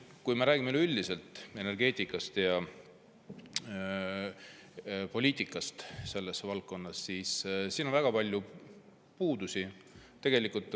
Kui me räägime üleüldiselt energeetikast ja poliitikast selles valdkonnas, siis näeme siin väga palju puudusi.